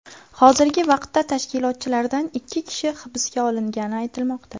Hozirgi vaqtda tashkilotchilardan ikki kishi hibsga olingani aytilmoqda.